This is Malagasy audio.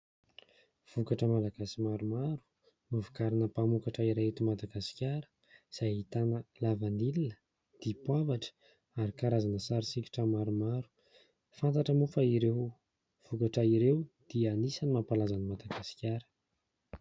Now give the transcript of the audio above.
Vokatra malagasy maromaro, novokarina mpamokatra iray eto Madagasikara, izay ahitana lavanila, dipoavatra, ary karazana sarisokitra maromaro. Fantatra moa fa ireo vokatra ireo dia anisany mampalaza an'i Madagasikara.